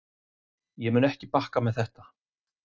Ég mun ekki bakki með þetta.